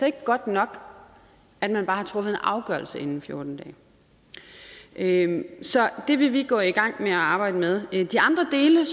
ikke godt nok at man bare har truffet en afgørelse inden for fjorten dage så det vil vi gå i gang med at arbejde med de andre dele